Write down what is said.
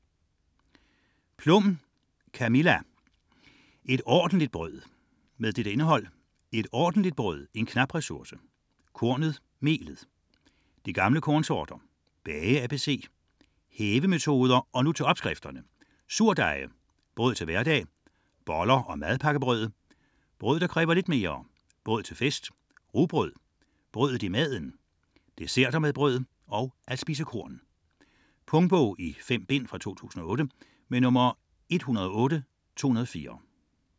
64.12 Plum, Camilla: Et ordentligt brød Indhold: Et ordentligt brød - en knap ressource; Kornet - melet; De gamle kornsorter; Bage ABC; Hævemetoder; Og nu til opskrifterne; Surdeje; Brød til hverdag; Boller og madpakkebrød; Brød der kræver lidt mere; Brød til fest; Rugbrød; Brødet i maden; Desserter med brød; At spise korn. Punktbog 108204 2008. 5 bind.